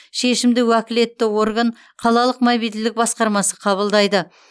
шешімді уәкілетті орган қалалық мобильділік басқармасы қабылдайды